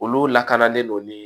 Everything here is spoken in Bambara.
Olu lakanalen don ni